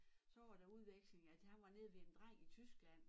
Så var der udveksling at han var nede ved en dreng i tyskland